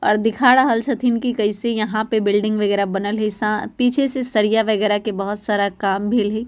और दिखा रहल छथिन की कैसे यहाँ पे बिल्डिंग वगैरा बनल हेय सा पीछे से सरिया वगैरा के बोहोत सारा काम भेल हेय।